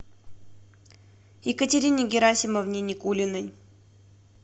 екатерине герасимовне никулиной